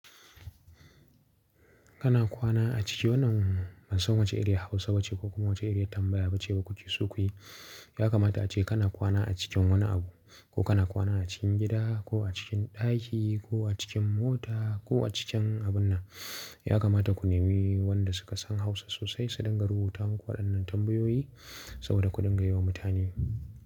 Kana kwana a ciki wannan ban san wace iriyar Hausa ba ce ko kuma wace iriyar tambaya ba ce ba ku ci so ku yi. Ya kamata ace kana kwana a cikin wane abu ko kana kwana a cikin gida ko a cikin ɗaki ko a cikin mota ko a cikin abun nan. Ya kamata ku nemi wanda suka san Hausa sosai su dinga rubuta maku wadannan tambayoyi saboda ku dinga yi wa mutane.